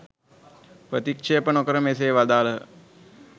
ප්‍රතික්‍ෂේප නොකොට මෙසේ වදාළහ.